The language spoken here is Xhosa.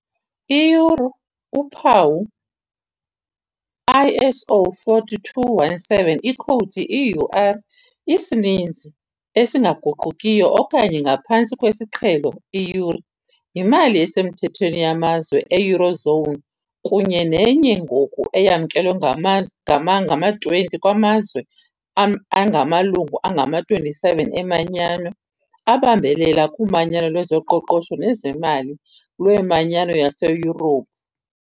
I-euro uphawu - ISO 4217 ikhowudi - EUR isininzi esingaguqukiyo okanye, ngaphantsi kwesiqhelo, " euri ", yimali esemthethweni yamazwe e- "eurozone" kunye nenye ngoku eyamkelwe ngama-20 kwaMazwe angamaLungu angama-27 eManyano abambelela kuManyano lwezoQoqosho nezeMali lweManyano yaseYurophu.